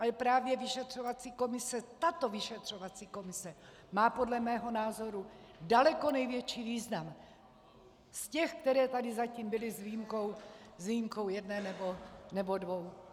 Ale právě vyšetřovací komise, tato vyšetřovací komise, má podle mého názoru daleko největší význam z těch, které tady zatím byly, s výjimkou jedné nebo dvou.